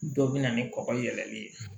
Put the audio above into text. Dɔ bɛ na ni kɔkɔ yɛlɛli ye